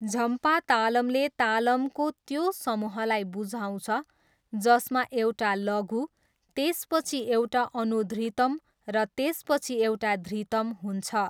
झम्पा तालमले तालमको त्यो समूहलाई बुझाउँछ जसमा एउटा लघु, त्यसपछि एउटा अनुधृतम र त्यसपछि एउटा धृतम हुन्छ।